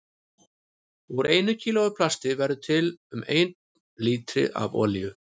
Úr einu kílói af plasti verður til um einn lítri af olíu.